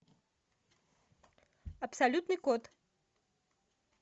абсолютный код